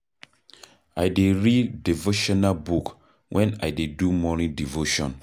I dey read devotional book wen I dey do morning devotion.